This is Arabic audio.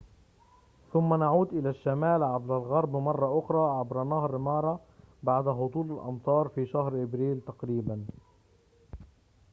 ثم نعود إلى الشمال عبر الغرب مرة أخرى عبر نهر مارا بعد هطول الأمطار في شهر أبريل تقريباً